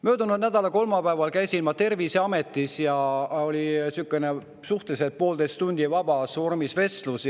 Möödunud nädala kolmapäeval käisin ma Terviseametis ja oli poolteist tundi sihukest suhteliselt vabas vormis vestlust.